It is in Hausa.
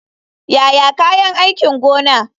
Yaya kayan aikin gona.